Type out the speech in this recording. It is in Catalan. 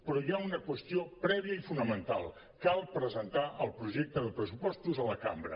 però hi ha una qüestió prèvia i fonamental cal presentar el projecte de pressupostos a la cambra